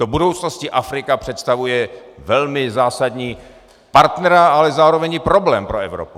Do budoucnosti Afrika představuje velmi zásadního partnera, ale zároveň i problém pro Evropu.